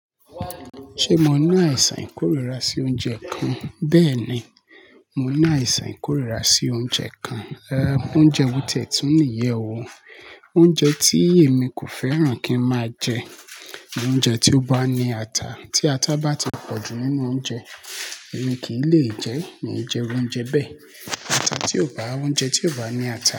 Ṣé mo ní àìsàn ìkórìíra sí oúnjẹ kan? Bẹ́ẹ̀ ni, mo ní àìsàn ìkórìíra sí oúnjẹ kan, oúnjẹ wùtì tún níyẹ̀wò. Oúnjẹ tí èmi kò fẹ́ràn kí ń máa jẹ ni oúnjẹ tí ó bá ní ata. Tí ata bá ti pọ̀jù nínú oúnjẹ, èmi kì í lè jẹ ẹ́, mi ò jẹ oúnjẹ bẹ́ẹ̀. Ata tí ò bá, oúnjẹ tí ò bá ní ata.